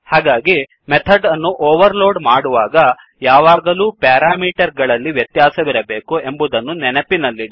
ಹಾಗಾಗಿ ಮೆಥಡ್ ಅನ್ನು overload ಮಾಡುವಾಗ ಯಾವಾಗಲೂ ಪ್ಯಾರಾಮೀಟರ್ ಗಳಲ್ಲಿ ವ್ಯತ್ಯಾಸವಿರಬೇಕು ಎಂಬುದನ್ನು ನೆನಪಿನಲ್ಲಿಡಿ